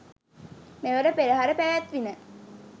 මෙවර පෙරහර පැවැත්විණ.